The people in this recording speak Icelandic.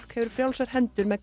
hefur frjálsar hendur með hvað